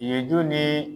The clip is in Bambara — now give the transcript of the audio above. Ye jo ni